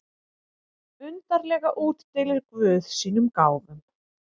Undarlega útdeilir guð sínum gáfum.